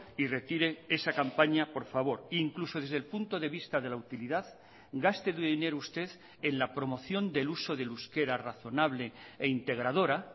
y retire esa campaña por favor incluso desde el punto de vista de la utilidad gaste dinero usted en la promoción del uso del euskera razonable e integradora